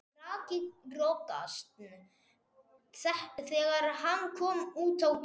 Rak í rogastans þegar hann kom út á Tún.